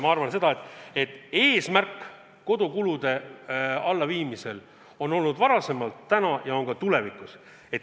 Ma arvan, et eesmärk kodukulud alla viia on olnud varem, on täna ja on ka tulevikus.